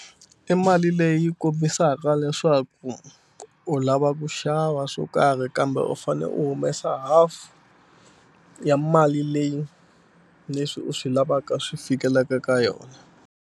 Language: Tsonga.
I mali leyi kombisaka leswaku u lava ku xava swo karhi kambe u fane u humesa half ya mali leyi leswi u swi lavaka swi fikelela ka yona.